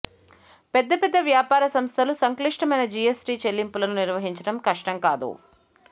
పెద్దపెద్ద వ్యాపార సంస్థలు సంక్లిష్టమైన జిఎస్టి చెల్లింపులను నిర్వహించడం కష్టం కాదు